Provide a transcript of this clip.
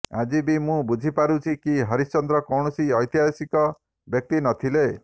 ଆଜି ବି ମୁଁ ବୁଝିପାରୁଛି କି ହରିଶ୍ଚନ୍ଦ୍ର କୌଣସି ଐତିହାସିକ ବ୍ୟକ୍ତି ନ ଥିଲେ